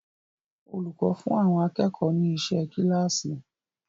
Olùkọ́ fún àwọn akẹ́kọ̀ọ́ ni iṣẹ́ kíláàsì.